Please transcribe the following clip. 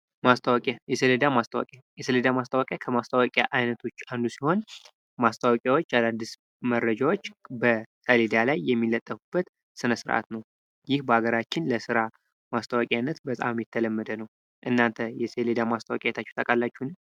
ማስታወቂያ የሰሌዳ ማስታወቂያ የሰሌዳ ማስታወቂያ ከማስታወቂያ አይነቶች ውስጥ አንዱ ሲሆን ማስታወቂያዎች አዳዲስ መረጃዎች በዳ ላይ የሚለጠፉበት ስነ ስርዓት ነው ይህ በአገራችን ለስራ ማስታወቂያነት በጣም የተለመደ ነው እናንተ የሰሌዳ ማስታወቂያ አይታችሁ ታውቃላችሁን?